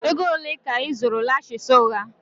Ego ole ka ị zụrụ lashes ụgha?